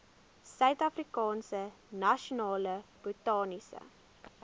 suidafrikaanse nasionale botaniese